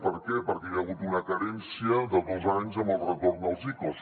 per què perquè hi ha hagut una carència de dos anys amb el retorn dels icos